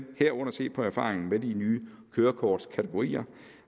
herunder se på erfaringerne med de nye kørekortkategorier